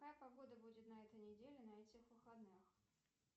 какая погода будет на этой неделе на этих выходных